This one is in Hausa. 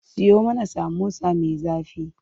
Siyo mana samosa me zafi.